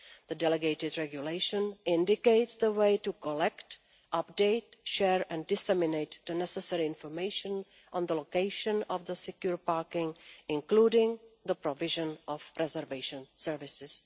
The delegated regulation indicates the way to collect, update, share and disseminate the necessary information on the location of the secure parking, including the provision of reservation services.